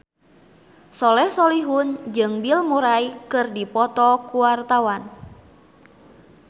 Soleh Solihun jeung Bill Murray keur dipoto ku wartawan